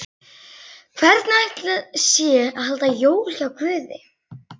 Hvernig ætli sé að halda jól hjá Guði?